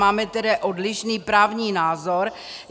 Máme tedy odlišný právní názor.